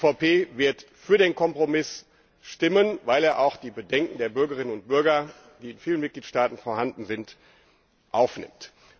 Die EVP wird für den Kompromiss stimmen, weil er auch die Bedenken der Bürgerinnen und Bürger, die in vielen Mitgliedstaaten vorhanden sind, aufnimmt.